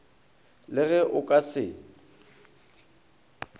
le ge o ka se